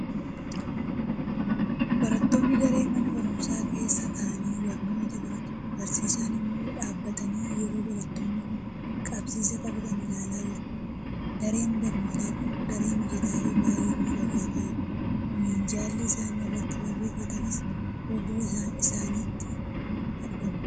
Barattoonni daree mana barumsaa keessa taa'anii barnoota baratu; barsiisaan immoo dhaabbatanii yeroo barattoonni kun qabsiisa qabatan ilaalaa jiru. Dareen barnootaa kun daree mijataa fi baay'ee miidhagaa ta'edha. Minjaalli isaan irratti barreffatanis fuuldura isaaniitti argama.